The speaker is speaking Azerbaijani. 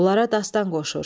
Onlara dastan qoşur.